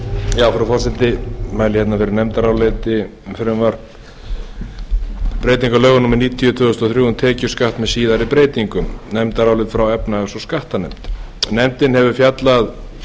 frú forseti ég mæli hérna fyrir nefndaráliti um breytingu á lögum númer níutíu tvö þúsund og þrjú um tekjuskatt með síðari breytingum nefndarálit frá efnahags og skattanefnd nefndin hefur fjallað